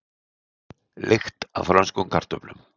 Lykt af frönskum kartöflum